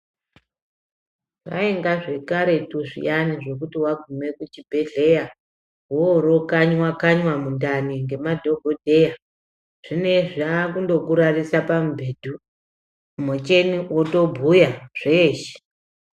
Zvaenga. zvekaretu zviyani zvekuti waguma kuchibhehlera woro kanya kanyiwa mundani nemadhokodheya zvineizvi vava kungokurarisa pamubhedhi mucheni wotobhuya zveshe.